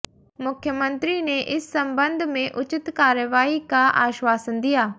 मुख्यमंत्री ने इस सम्बन्ध में उचित कार्रवाई का आश्वासन दिया